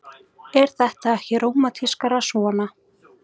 Er þetta ekki rómantískara svona?